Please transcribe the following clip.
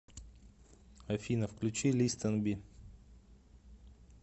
афина включи листенби